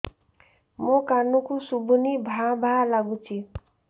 ମୋ କାନକୁ ଶୁଭୁନି ଭା ଭା ଲାଗୁଚି